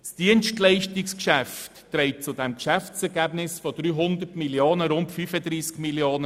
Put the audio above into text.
Das Dienstleistungsgeschäft trägt zum Geschäftsergebnis von 300 Mio. Franken rund 35 Mio. Franken bei.